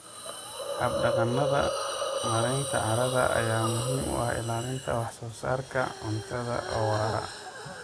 Hab-dhaqannada maaraynta carrada ayaa muhiim u ah ilaalinta wax-soo-saarka cuntada oo waara.